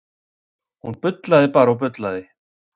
Hún bullaði bara og bullaði.